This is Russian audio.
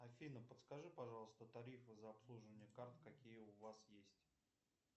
афина подскажи пожалуйста тарифы за обслуживание карт какие у вас есть